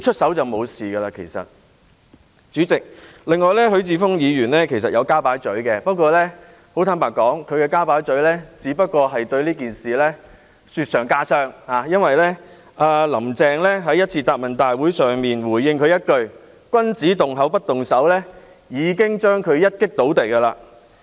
代理主席，許智峯議員亦有加入討論，但坦白說，他的加入只會令這件事雪上加霜，因為"林鄭"在某次答問會上回應他一句："君子動口不動手"，已經將他"一擊倒地"。